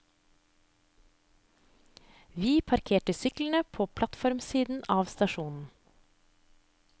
Vi parkerer syklene på plattformsiden av stasjonen.